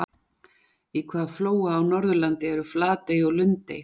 Í hvaða flóa á Norðurlandi eru Flatey og Lundey?